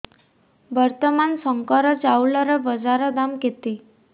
ବର୍ତ୍ତମାନ ଶଙ୍କର ଚାଉଳର ବଜାର ଦାମ୍ କେତେ